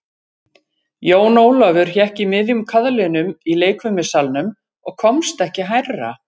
Jón Ólafur hékk í miðjum kaðlinum í leikfimissalnum og komst ekki hærra.